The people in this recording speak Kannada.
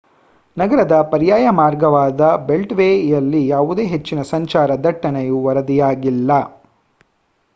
ನಗರದ ಪರ್ಯಾಯ ಮಾರ್ಗವಾದ ಬೆಲ್ಟ್‌ವೇಯಲ್ಲಿ ಯಾವುದೇ ಹೆಚ್ಚಿನ ಸಂಚಾರ ದಟ್ಟಣೆಯು ವರದಿಯಾಗಿಲ್ಲ